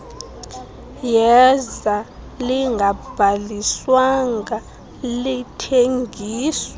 yeza lingabhaliswanga lingathengiswa